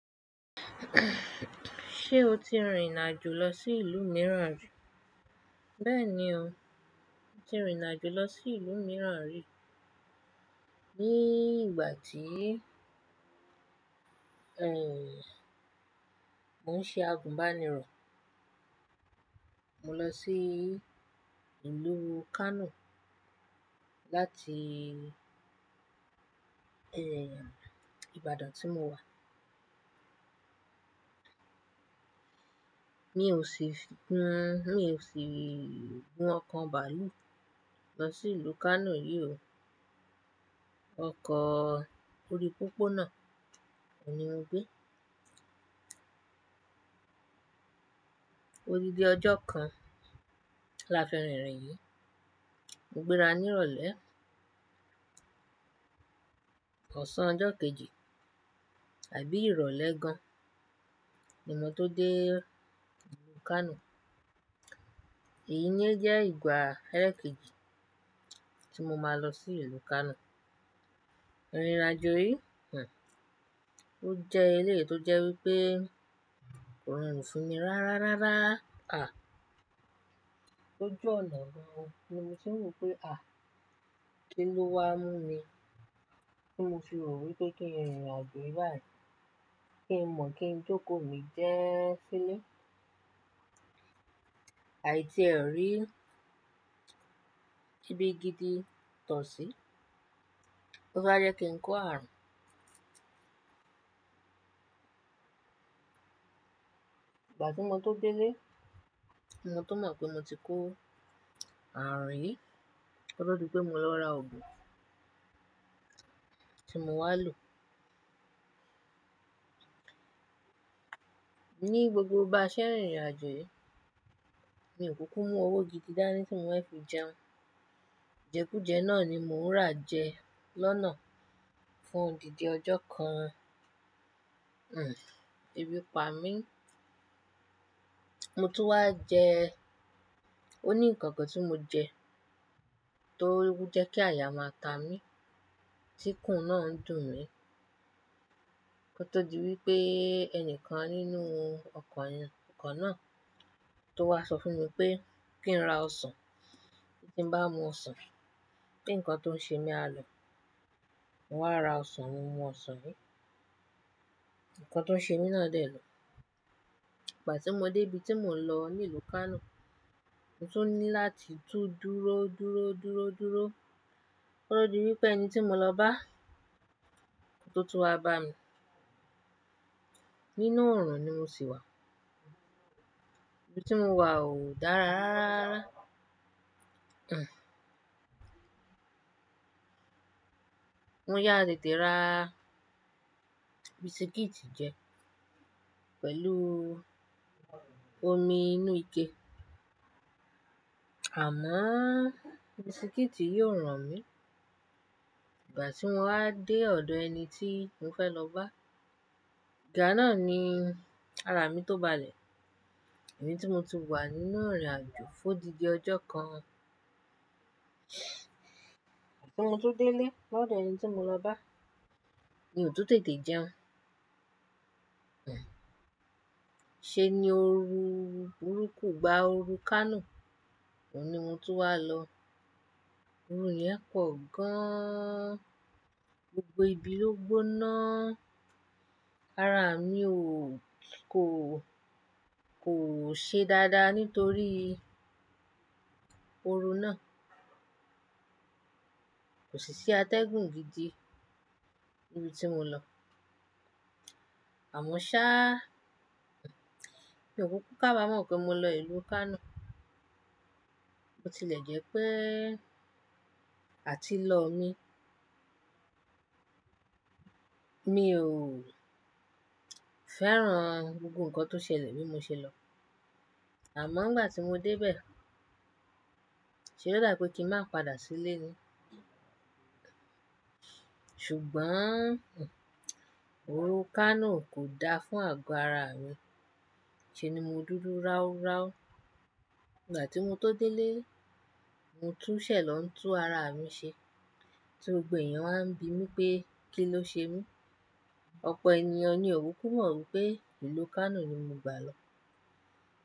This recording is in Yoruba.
Ṣé o ti rìnrìn àjò lọ sí ìlú mìíràn ri? Bẹ́ẹ̀ni o, mo ti rìnàjò lọ sí ìlú mìíràn rí. Ní ìgbà tí, ehn, mò ń ṣe àgùnbánirọ̀, mo lọ sí ìlú Kano láti, ehn, Ibadan tí mo wà. Mi ò sí fi, hmm, mi ò si gun ọkọ̀ bàálù lọ sí ìlú Kano yìí o. Ọkọ̀ orí pópónà, oun ni mo gbé. Odidi ọjọ́ kan lafirìn ìrìn yìí, mo gbéra ní ìrọ̀lẹ́ ọ̀sán ọjọ́ kejì àbí ìrọ̀lẹ́ gan, ni mo tó dé Kano. Èyí ni ẹ jẹ́ ìgbà ele kejì tí mo máa lọ sí ìlú Kano. Ìrìnàjò yìí, hm, ó jẹ́ eléyii tó jẹ́ wípé ko rọrùn fún mi rárárárá. À! Lójú ọ̀nà ni, mo tìn wo pé, "À! Kí ló wá mú mi ti mo fi ro wípé kin rìnrìn àjò báyìí? Kí n mọ̀ kí n jókòó mi jee sílé." Àì tíè ò rí ibi gidi tọ̀ sí. Ó bájẹ́ kí n kó ààrùn. Ìgbà tí mo tó dé lé, mo tó mọ̀ pé mo ti kó ààrùn yìí. Ko to di pé mo lọ ra òògùn tí mo máa lò. Ní gbogbo bà n ṣẹ́ rìn rìn àjò yìí, mi ò kúkú mú owó gidi dání tí mò fẹ́ fi jẹun. Ìjẹkújẹ náà ni mò ń rà jẹ lọ́nà fún odindi ọjọ́ kan. Hmm, ebí pa mí. Mo tún wá jẹ. Ó ní ǹkan kan tí mo jẹ tó n jẹ́ kí àyà máa ta mí, tí kùn náà ń dùn mí. Ko tó di wípé ẹnìkan nínú ọkọ̀ yẹn, ọkọ̀ náà tó wá sọ fún mi pé kí n ra ọsàn, ti bá mu ọsàn, kí ǹkan tó ń ṣe mí á lọ. Mo wá ra ọsàn, mo mu ọsàn yìí, ǹkan tó ń ṣe mí náà dé lò. Ìgbà tí mo dé ibi tí mò ń lọ ní ìlú Kano, mo tún ní láti tún dúró, dúró, dúró, dúró. Ko tọ di wípé ẹni tí mo lọ bá, ló tó wá bá mi. Nínú ọ̀ràn ni mo sì wà. Ibi tí mo wà o dára rárárá. Hmm. Mo yá tètè rà bísíkítì jẹ pẹ̀lú omi inú ike. Amo bísíkítì yìí ò ràn mí. Ìgbà tí mo wá dé ọ̀dọ̀ ẹni tí mò fẹ́ lọ bá, ìgbà náà ni ara mi tó balẹ̀. Èyí tí mo ti wà nínú irìn àjò fún odindi ọjọ́ kan. Ìgbà tí mo tun délé, lọ́dọ̀ ẹni tí mo lọ bá, mi ò tún tètè jẹun. Hmm. Ṣé ni ó ru, òrukù gba ooru Kano? Ó ní mo tún wá lọ. Ooru yẹn pọ̀ gan-an. Gbogbo ibi ló gbóná. Ara mi ò, kò, kò ṣe dáadáa nítorí ooru náà. Kò sì sí atẹ́gùn gidi ibi tí mo lọ. Àmọ́ ṣá, mi ò kúkú kàbàámọ̀ pé mo lọ ìlú Kano. Bo tilẹ̀ jẹ́ pé àtilọ́ mi. Mi ò fẹ́ràn gbogbo ǹkan tó ṣẹlẹ̀ bí mo ṣe lọ. Àmọ́ ìgbà tí mo dé bẹ̀, ṣe ló dà bi pé kí ń máa padà sílé ni. Ṣùgbọ́n, hmm, ooru Kano kò da fún àgọ́ ara mi. Ṣé ni mo dúdú raúráú. Ìgbà tí mo tó dé lé, mo tún ṣẹ̀lọ́ ń tú ara mi ṣe tí gbogbo èèyàn á ń bi mí pé kí ló ṣe mí. Ọ̀pọ̀ ènìyàn ni ò kúkú mọ̀ wípé ìlú Kano ni mo gbà lọ.